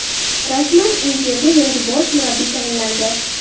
Rasman: "Inter"ga yangi bosh murabbiy tayinlandi.